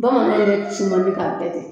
Bamanan yɛrɛ ti si man di k'a kɛ ten